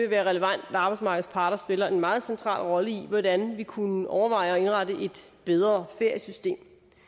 være relevant at arbejdsmarkedets parter spiller en meget central rolle i hvordan vi kunne overveje at indrette et bedre feriesystem